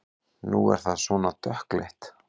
Nú er það svona dökkleitt!